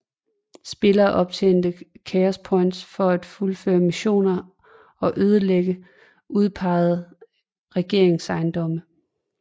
Spillere optjener Chaos Points for at fuldføre missioner og ødelægge udpeget regeringsejendomme